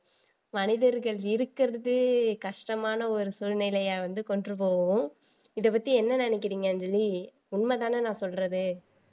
மனிதர்கள் இருக்கிறது கஷ்டமான ஒரு சூழ்நிலையை வந்து கொண்டு போவும் இத பத்தி என்ன நினைக்கிறீங்கன்னு அஞ்சலி உண்மைதானே நான் சொல்றது